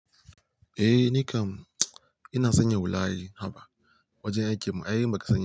Eh ni kam, ina sanya wulaye haba wajen aikin mu, ai ba ka sani.